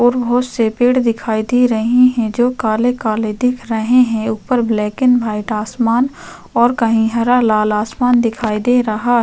और बहोत से पेड़ दिखाई दे रहे है जो काले - काले दिख रहे हैं उपर ब्लैक एंड वाइट आसमान और कहीं हरा - लाल आसमान दिखाई दे रहा --